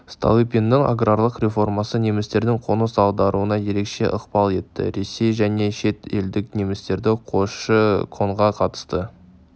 столыпинның аграрлық реформасы немістердің қоныс аударуына ерекше ықпал етті ресей және шет елдік немістерді көші-қонға қатысты